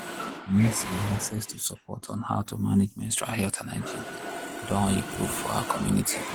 i mean say access to support on how to manage menstrual health and hygiene doh improve for our community.